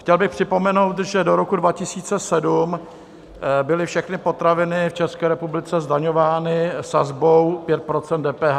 Chtěl bych připomenout, že do roku 2007 byly všechny potraviny v České republice zdaňovány sazbou 5 % DPH.